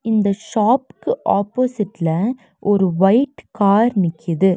இந்த ஷாப்புக்கு ஆப்போசிட்ல ஒரு வைட் கார் நிக்கிது.